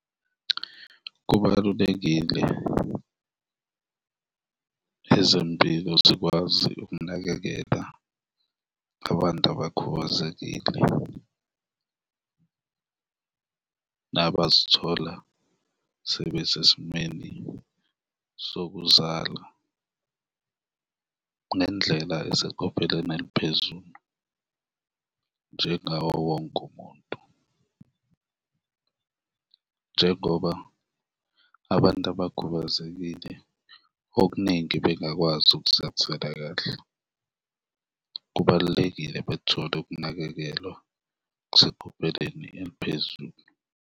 Kubalulekile ezempilo zikwazi ukunakekela abantu abakhubazekile nabazithola sebesesimeni sokuzala ngendlela eseqophelweni eliphezulu njengawo wonke umuntu. Njengoba abantu abakhubazekile okuningi bengakwazi ukuzithathela kahle, kubalulekile bethole ukunakekelwa okuseqopheleni eliphezulu.